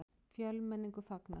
Fjölmenningu fagnað